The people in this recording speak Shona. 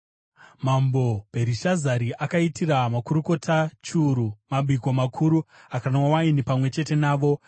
Mambo Bherishazari akaitira makurukota chiuru mabiko makuru akanwa waini pamwe chete navo.